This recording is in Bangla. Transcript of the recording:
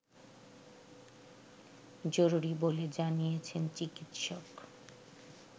জরুরি বলে জানিয়েছেন চিকিৎসক